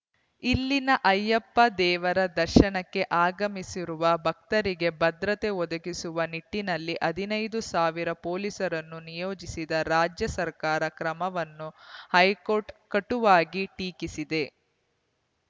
ಇಲ್ಲಿನ ಅಯ್ಯಪ್ಪ ದೇವರ ದರ್ಶನಕ್ಕೆ ಆಗಮಿಸುವ ಭಕ್ತರಿಗೆ ಭದ್ರತೆ ಒದಗಿಸುವ ನಿಟ್ಟಿನಲ್ಲಿ ಹದಿನೈದು ಸಾವಿರ ಪೊಲೀಸರನ್ನು ನಿಯೋಜಿಸಿದ ರಾಜ್ಯ ಸರ್ಕಾರದ ಕ್ರಮವನ್ನು ಹೈಕೋರ್ಟ್‌ ಕಟುವಾಗಿ ಟೀಕಿಸಿದೆ